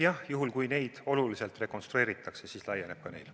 Jah, juhul kui neid oluliselt rekonstrueeritakse, siis laieneb ka neile.